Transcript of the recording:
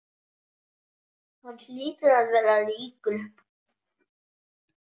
Hann hlýtur að vera ríkur.